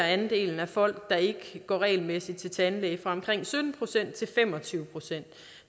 at andelen af folk der ikke går regelmæssigt til tandlæge varierer fra omkring sytten procent til fem og tyve procent